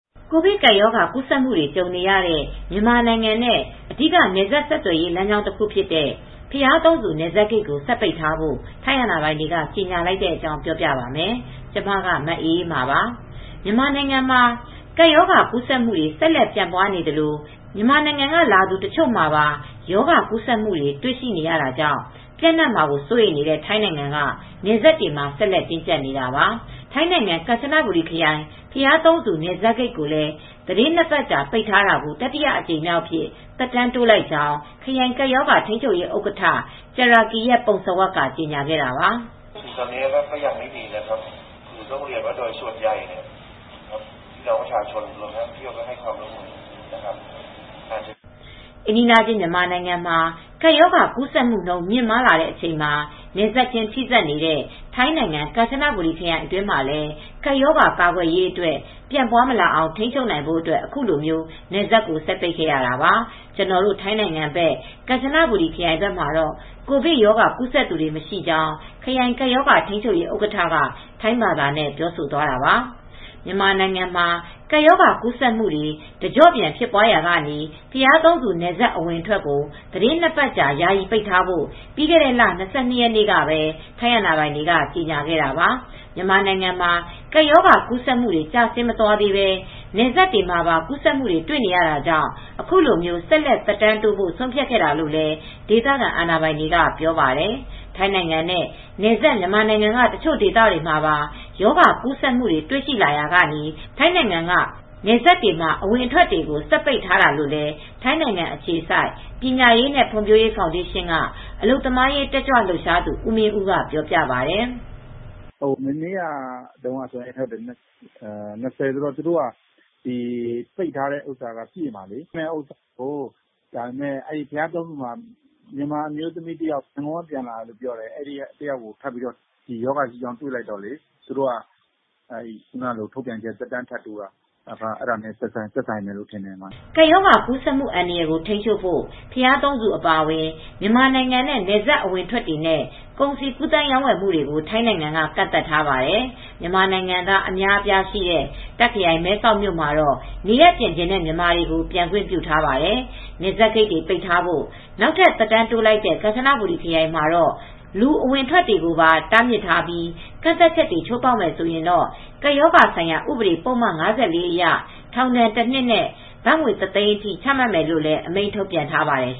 ကိုဗစ်ကပ်ရောဂါကူးစက်မှုတွေ ကြုံနေရတဲ့ မြန်မာနိုင်ငံနဲ့ အဓိကနယ်စပ် ဆက်သွယ်ရေး လမ်းကြောင်း တခုဖြစ်တဲ့ ဘုရားသုံးဆူ နယ်စပ်ဂိတ်ကို ဆက်ပိတ်ထားဖို့ ထိုင်းအာဏာပိုင်တွေ ကြေညာလိုက်တဲ့အကြောင်း ပြောပြပါမယ်။ ဗွီအိုအေမြန်မာပိုင်းသတင်းထောက် မအေးအေးမာက ပြောပြပေးထားပါတယ်။ မြန်မာနိုင်ငံမှာ ကပ်ရောဂါကူးစက်မှုတွေ ဆက်လက်ဖြစ်ပွားနေသလို မြန်မာနိုင်ငံက လာသူ တချို့မှာပါ ရောဂါကူးစက်မှုတွေ တွေ့ရှိရတာကြောင့် ပျံ့နှံ့မှာ စိုးရိမ်နေတဲ့ ထိုင်းနိုင်ငံက နယ်စပ်တွေမှာ ဆက်လက်တင်းကြပ်နေတာပါ။ ထိုင်းနိုင်ငံ ကမ်ချဘူရီခရိုင် ဘုရားသုံးဆူ နယ်စပ်ဂိတ်ကိုလည်း သီတင်း ၂ ပတ်ကြာပိတ်ထားတာကို တတိယအကြိမ်အဖြစ် သက်တမ်းတိုးလိုက်ကြောင်း ခရိုင်ကပ်ရောဂါထိမ်းချုပ်ရေး ဥက္ကဋ္ဌ Jirakiat Phumsawat ကကြေညာခဲ့တာပါ။ အိမ်နီးချင်း မြန်မာနိုင်ငံမှာ ကပ်ရောဂါ ကူးဆက်နှုန်း မြင့်လာနေတဲ့အချိန်မှာ နယ်စပ်ချင်း ထိစပ်နေတဲ့ ထိုင်းနိုင်ငံ ကမ်ချနဘူရီ ခရိုင်အတွင်းမှာလည်း ကပ်ရောဂါကာကွယ်ရေး အတွက် ပြန့်ပွားမလာအောင်ထိန်းချုပ်နိုင်ဖိုအတွက် အခုလို နယ်စပ်ကို ဆက်ပိတ်ခဲ့ရတာပါ- ကျနော်တို့ ထိုင်းနိုင်ငံဘက် ကမ်ချနာဘူရီခရိုင်မှာတော့ကိုဗစ်ရောဂါ ကူးဆက်သူ မရှိကြောင်း ခရိုင်ကပ်ရောဂါထိန်းချုပ်ရေး ဥက္ကဋ္ဌက ထိုင်းဘာသာနဲ့ ပြောဆိုသွားတာပါ။ မြန်မာနိုင်ငံမှာ ကပ်ရောဂါကူးစက်မှုတွေ တကျော့ပြန်ဖြစ်ပွားရာက ဘုရားသုံးဆူ နယ်စပ် အဝင်အထွက်ကို သီတင်း ၂ ပတ်ကြာ ယာယီပိတ်ထားဖို့ ပြီးခဲ့တဲ့လ ၂၂ ရက်နေ့ကပဲ ထိုင်းအာဏာပိုင်တွေက ကြေညာခဲ့တာပါ။ မြန်မာနိုင်ငံမှာ ကပ်ရောဂါကူးစက်မှုတွေ ကျဆင်းမသွားသေးပဲ နယ်စပ်ဒေသတွေမှာပါ ကူးစက်မှုတွေ တွေ့နေရတာကြောင့် အခုလို ဆက်လက် သက်တမ်းတိုးဖို့ ဆုံးဖြတ်ခဲ့တာလို့လည်း ဒေသခံအာဏာပိုင်တွေက ပြောပါတယ်။ ထိုင်းနိုင်ငံနဲ့ နယ်စပ် မြန်မာနိုင်ငံက တချို့ဒေသတွေမှာပါ ရောဂါကူးစက်မှုတွေ တွေ့ရှိလာရာက ထိုင်းနိုင်ငံက နယ်စပ်တွေမှာ အဝင်အထွက်တွေကို ဆက်ပိတ်ထားတာလို့လည်း ထိုင်းနိုင်ငံအခြေစိုက်ပညာရေးနဲ့ ဖွံဖြိုးရေဖောင်းဒေးရှင်းက အလုပ်သမားရေးတက်ကြွလှုပ်ရှားဦးမင်းဦးကပြောပါတယ်။ "မနေ့ကတုန်းက ၂၀ ရက်နေ့ဆိုတော့ ပိတ်တာပြည့်တာလေ။ ဘုရားသုံးဆူဘက်မှာ မြန်မာပြည် ရန်ကုန်ဘက်ကပြန်လာတဲ့ အမျိုးသမီးတဦး ပိုးတွေ့တာကနေ သူတို့က အဲဒါနဲ့ သက်ဆိုင်ပြီး သက်တမ်းထပ်တိုးတာလို့ယူဆရပါတယ်။" ကပ်ရောဂါကူးစက်မှု အန္တရာယ်ကို ထိန်းချုပ်ဖို့ ဘုရားသုံးဆူ အပါအဝင် မြန်မာနိုင်ငံနဲ့ နယ်စပ် အဝင်အထွက်တွေနဲ့ ကုန်စည်ကူးသန်းရောင်းဝယ်မှုတွေကို ထိုင်းနိုင်ငံက ကန့်သတ်ထားပါတယ်။ မြန်မာနိုင်ငံသား အများအပြားရှိတဲ့ တာခ်ခရိုင် မဲဆောက်မြို့မှာတော့ နေရပ်ပြန်ချင်တဲ့ မြန်မာတွေကို ပြန်ခွင့်ပြုထားပါတယ်။ နယ်စပ်ဂိတ်တွေ ပိတ်ထားဖို့ နောက်ထပ် သက်တမ်းတိုးလိုက်တဲ့ ကမ်ချနဘူရီခရိုင်မှာတော့ လူအဝင်အထွက်ကိုပါ တားမြစ်ထားပြီး ကန့်သတ်ချက်တွေ ချိုးဖေါက်မယ်ဆိုရင်တော့ ကပ်ရောဂါဆိုင်ရာ ဥပဒေ ပုဒ်မ ၅၄ အရ ထောင်ဒဏ်တစ်နှစ်နဲ့ ဘတ်ငွေ ၁၀၀,၀၀၀ အထိ ချမှတ်မယ်လို့လည်း အမိန့်ထုတ်ပြန်ထားပါတယ်